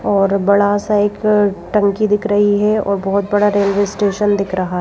और बड़ा सा एक टंकी दिख रही है और बहुत बड़ा रेलवे स्टेशन दिख रहा है।